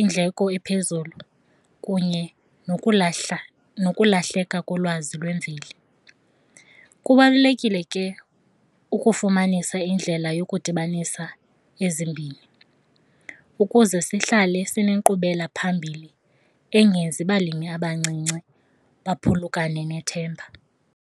indleko ephezulu kunye nokulahla nokulahleka kolwazi lwemveli. Kubalulekile ke ukufumanisa indlela yokudibanisa ezimbini ukuze sihlale sinenkqubelaphambili engenzi balimi abancinci baphulukane nethemba.